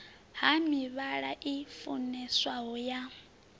ha mivhala i funeswaho ya